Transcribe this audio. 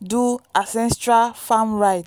do ancestral farm rite.